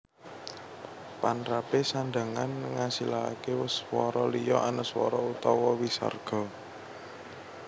Panrapé sandhangan ngasilaké swara liya anuswara utawa wisarga